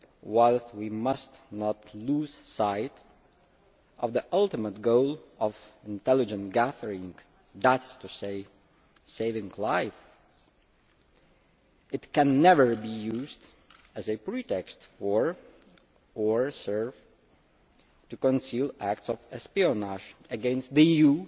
While we must not lose sight of the ultimate goal of intelligence gathering that is to say, saving lives it can never be used as a pretext for or serve to conceal acts of espionage against the EU